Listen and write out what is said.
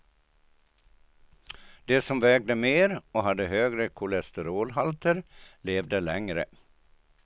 De som vägde mer och hade högre kolesterolhalter levde längre.